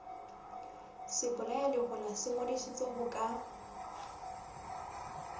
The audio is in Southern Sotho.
sebolayalehola se ngodisitswe ho ka